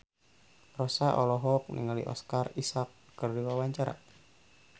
Rossa olohok ningali Oscar Isaac keur diwawancara